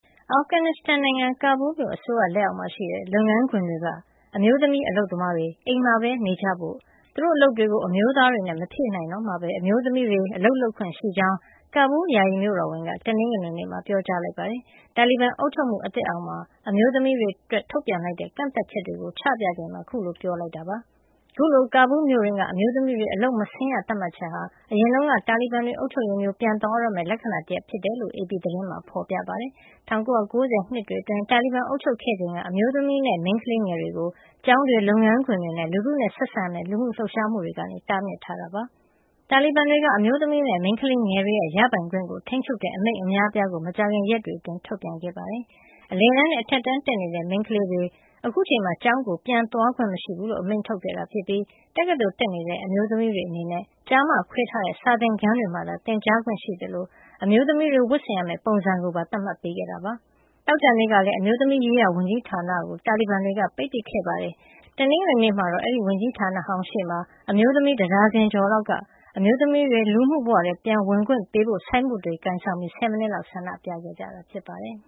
အာဖဂန်နစ္စတန်နိုင်ငံ ကာဘူးလ်မြို့ အစိုးရလက်အောက်မှာရှိတဲ့ လုပ်ငန်းခွင်တွေက အမျိုးသမီး အလုပ်သမားတွေ အိမ်မှာပဲနေကြဖို့၊ သူတို့အလုပ်တွေကို အမျိုးသားတွေနဲ့ မဖြည့်နိုင်တော့မှဘဲ အမျိုးသမီးတွေ အလုပ်လုပ်ခွင့်ရှိကြောင်း ကာဘူးလ် ယာယီမြို့တော်ဝန်က တနင်္ဂနွေနေ့မှာ ပြောကြားလိုက်ပါတယ်။ တာလီဘန်အုပ်ချုပ်မှု အသစ်အောက်မှာ အမျိုးသမီးတွေအတွက် ထုတ်ပြန်လိုက်တဲ့ ကန့်သတ်ချက်တွေကို ချပြချိန်မှာ အခုလို ပြောကြားခဲ့တာ ဖြစ်ပါတယ်။ အခုလို ကာဘူးလ်မြို့တွင်းက အမျိုးသမီးတွေ အလုပ်မဆင်းရ သတ်မှတ်ချက်ဟာ အရင်တုန်းက တာလီဘန်တွေ အုပ်ချုပ်ရေးမျိုး ပြန်သွားတော့မယ့် လက္ခဏာတရပ်လည်း ဖြစ်တယ်လို့ AP သတင်းမှာ ဖော်ပြထားပါတယ်။ ၁၉၉၀ နှစ်တွေအတွင်း တာလီဘန်တွေ အုပ်ချုပ်ခဲ့ချိန်က အမျိုးသမီးနဲ့ မိန်းကလေးငယ်တွေကို ကျောင်းတွေ၊ လုပ်ငန်းခွင်တွေနဲ့ လူထုနဲ့ဆက်ဆံရတဲ့ လူမှုလှုပ်ရှားမှုတွေကနေ တားမြစ်ထားတာ ဖြစ်ပါတယ်။ တာလီဘန်တွေက အမျိုးသမီးနဲ့ မိန်းကလေးငယ်တွေရဲ့ ရပိုင်ခွင့်ကို ထိန်းချုပ်တဲ့ အမိန့်အများအပြားကို မကြာခင် ရက်တွေအတွင်း ထုတ်ပြန်ခဲ့တာပါ။ အလယ်တန်းနဲ့ အထက်တန်းတက်နေတဲ့ မိန်းကလေးတွေ အခုအချိန်မှာ ကျောင်းကို ပြန်သွားခွင့် မရှိဘူးလို့ အမိန့်ထုတ်ခဲ့သလို တက္ကသိုလ်တက်နေတဲ့ အမျိုးသမီးတွေ အနေနဲ့ ကျား မ ခွဲထားတဲ့ စာသင်ခန်းတွေမှာသာ သင်ကြားခွင့်ရှိသလို အမျိုးသမီးတွေ ဝတ်ဆင်ရမယ့် ပုံစံကိုပါ သတ်မှတ်ပေးခဲ့တာ ဖြစ်ပါတယ်။ သောကြာနေ့ကလည်း အမျိုးသမီးရေးရာ ဝန်ကြီးဌာနကို တာလီဘန်တွေက ပိတ်ပစ်ခဲ့တာပါ။ တနင်္ဂနွေနေ့မှာတော့ အဲဒီဝန်ကြီးဌာနဟောင်းရှေ့မှာ အမျိုးသမီး တဒါဇင်ကျော်လောက်က အမျိုးသမီးတွေ လူမှုဘဝထဲ ပြန်ဝင်ခွင့်ပေးဖို့ ဆိုင်းဘုတ်တွေ ကိုင်ဆောင်ပြီး ဆယ်မိနစ်လောက် ဆန္ဒပြခဲ့ကြတာ ဖြစ်ပါတယ်။